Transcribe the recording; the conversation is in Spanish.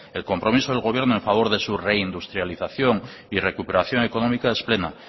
el compromiso del gobierno a favor de su reindustrialización y recuperación económica es pleno